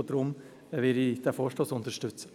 Und deshalb werde ich diesen Vorstoss unterstützen.